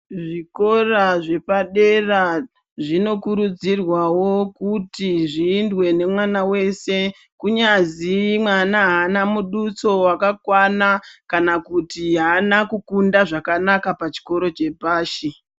Zvikora zvepadera zvinokurudzirwawo kuti zviindwe nemwana wese, kunyazi mwana haana muduso wakakwana, kana kuti haana kukunda zvakanaka pachikoro chepashi.